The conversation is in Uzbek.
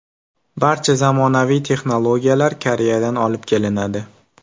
Barcha zamonaviy texnologiyalar Koreyadan olib kelinadi.